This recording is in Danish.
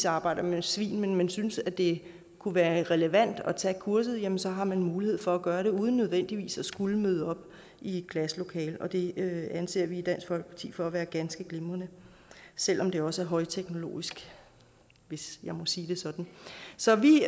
arbejder med svin men synes at det kunne være relevant at tage kurset jamen så har man mulighed for at gøre det uden nødvendigvis at skulle møde op i et klasselokale og det anser vi i dansk folkeparti for at være ganske glimrende selv om det også er højteknologisk hvis jeg må sige det sådan så vi